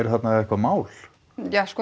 þarna eitthvað mál ja það sko